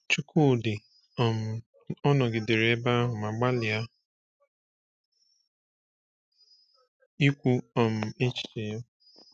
Chukwudi um ọ nọgidere ebe ahụ ma gbalịa ikwu um echiche ya?